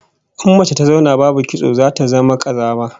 In mace ta zauna babu kitso zata zama kazama